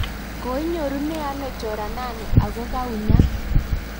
koinyorute ano choranani aku kaunyat?